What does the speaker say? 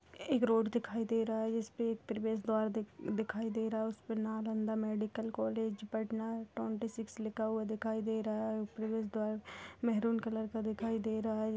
एक रोड दिखाई दे रहा है जिस पे एक प्रेवश द्वार दिख-दिखाई दे रहा है| उसपे Nalanda medical college Patna twenty six लिखा दिखाई दे रहा है| प्रेवश द्वार मेहरून कलर का दिखाई दे रहा है।